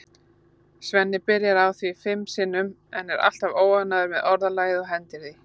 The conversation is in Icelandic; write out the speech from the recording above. Svenni byrjar á því fimm sinnum en er alltaf óánægður með orðalagið og hendir því.